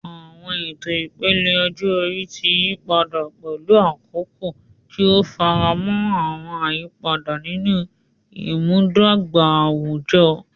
Àwọn ètò ìpele ọjọ́ orí ti yí padà pẹ̀lú àkókò, tí ó ń faramọ́ àwọn àyípadà nínú ìmúdàgba àwùjọ.